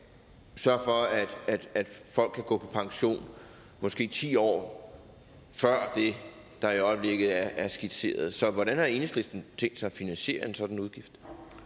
sørge for at folk kan gå på pension måske ti år før det der i øjeblikket er skitseret så hvordan har enhedslisten tænkt sig at finansiere en sådan udgift